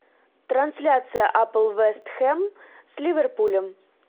трансляция апл вест хэм с ливерпулем